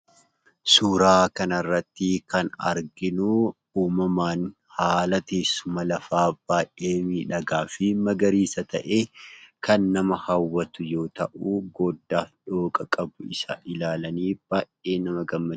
Suuraa kanarrattii kan arginuu uumamaan haala teessuma lafaa baay'ee miidhagaa fi magariisa ta'ee; kan nama hawwatu yoo ta'u, goddaa fi dhooqa qabu isa ilaalanii baay'ee nama gammachiisa.